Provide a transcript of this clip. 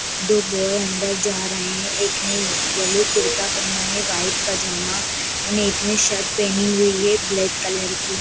दो बॉय अंदर जा रहे हैं एक ने यैलो कुर्ता पहना है व्हाइट पजामा और एक ने शर्ट पहनी हुई है ब्लैक कलर की।